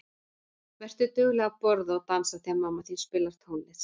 Vertu dugleg að borða og dansa þegar mamma þín spilar tónlist.